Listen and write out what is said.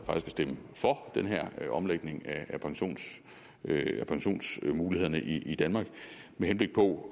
at stemme for den her omlægning af pensionsmulighederne i danmark med henblik på